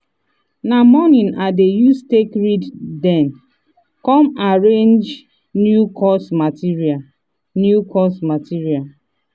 na morning i dey use take read then come arrange new course material. new course material.